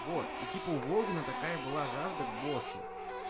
вот и типа у волгина такая была жажда к боссу